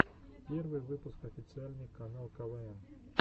первый выпуск официальный канал квн